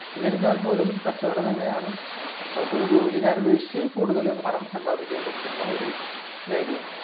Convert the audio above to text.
എന്നിരുന്നാലും കച്ചവടം തന്നെയാണ് നമുക്ക് ജോലിയെക്കാളും പണം സമ്പാദിക്കാൻ പറ്റുന്ന ഒരു മേഖല